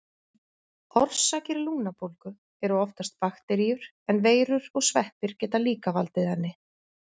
Orsakir lungnabólgu eru oftast bakteríur, en veirur og sveppir geta líka valdið henni.